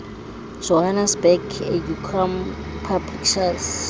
johannesburg educum publishers